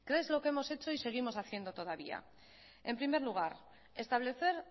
qué es lo que hemos hecho y seguimos haciendo todavía en primer lugar establecer